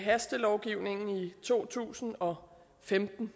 hastelovgivningen i to tusind og femten